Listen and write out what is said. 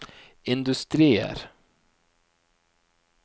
industrier